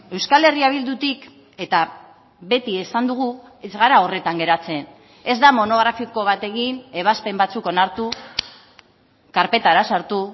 euskal herria bildutik eta beti esan dugu ez gara horretan geratzen ez da monografiko bat egin ebazpen batzuk onartu karpetara sartu